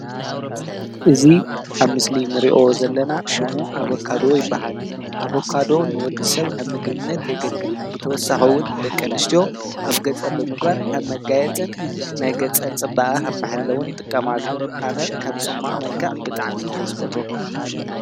እዚ ኣብ ምስሊ ንሪኦ ዘለና ሽሙ አቮካዶ ይበሃል። አቮካዶ ንወድሰብ ከም ምግብነት የገልግል። ብተወሳኪ ውን ደቂ ኣንስትዮ ኣብ ገፀን ብምግባር ከም መጋየፂ ናይ ገፀን ፅባቀ ከም መሐለውን ይጥቀማሉ። ኣነ ከም ፅሟቅ መልክዕ ብጣዕሚ እየ ዝፈትዎ።